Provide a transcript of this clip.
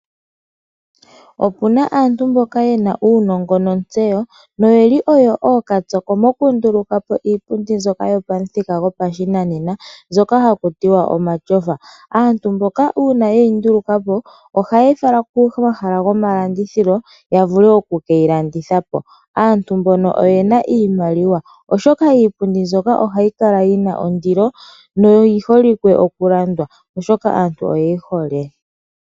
Opuna aantu mboka yena uunongo notsewo, yo oyeli ookatsoko mokunduluka po iipundi mbyoka yili pomuthika gopashinanena, mbyoka haku ti wa omatyofa, aantu mboka uuna ye yinduluka po ohaye yi fala komahala gomalandithilo ya vule oku keyi landitha po. Aantu mbono oyena iimaliwa oshoka iipundi mbyoka ohayi kala yina ondilo, yo oyi holike oku landwa oshoka aantu oye yi hole